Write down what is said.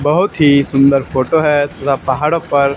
बहुत ही सुंदर फोटो है थोड़ा पहाड़ों पर--